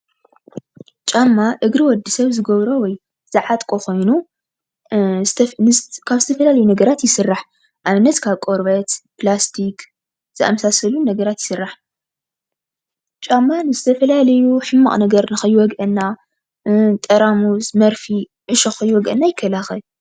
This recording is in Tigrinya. ጫማ እግሪ ወድሰብ ዝገብሮ ወይ ዝዓጥቆ ኮይኑ ካብ ዝተፈላለዩ ነገራት ይስራሕ። ንኣብነት ካብ ቆርበት ፕላስቲክ ዝኣመሳሰሉ ነገራት ይስራሕ ።ጫማ ንዝተፈላለዩ ሕማቕ ነገር ንከይወግኣና ጠራሙዝ ፣መርፍእ፣ ዕሾክ ከይወግኣና ይከላኸል ።